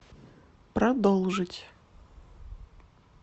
продолжить